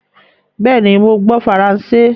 Béení! mo gbó faransé.